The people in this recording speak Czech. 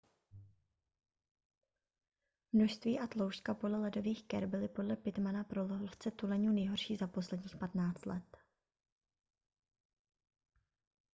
množství a tloušťka pole ledových ker byly podle pittmana pro lovce tuleňů nejhorší za posledních 15 let